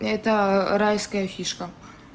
это райская фишка